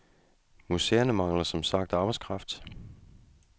Museerne mangler som sagt arbejdskraft.